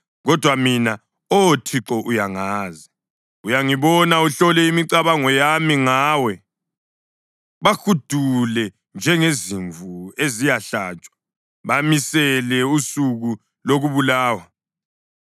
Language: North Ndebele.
Kodwa mina, Oh Thixo, uyangazi; uyangibona uhlole imicabango yami ngawe. Bahudule njengezimvu eziyahlatshwa! Bamisele usuku lokubulawa!